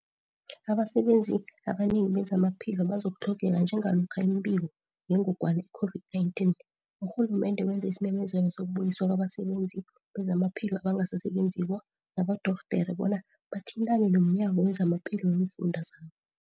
Abasebenzi abanengi bezamaphilo bazokutlhogeka njengalokha imibiko yengogwana i-COVID-19 lumende wenze isimemezelo sokubuyiswa kwabasebenzi bezamaphilo abangasasebenziko nabodorhodere bona bathintane nomnyango wezamaphilo weemfunda zabo.